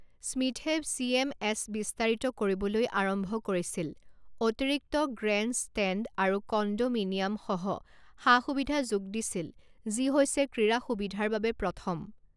স্মিথে C M S বিস্তাৰিত কৰিবলৈ আৰম্ভ কৰিছিল অতিৰিক্ত গ্ৰেণ্ডষ্টেণ্ড আৰু কণ্ডোমিনিয়ামসহ সা সুবিধা যোগ দিছিল যি হৈছে ক্ৰীড়া সুবিধাৰ বাবে প্ৰথম।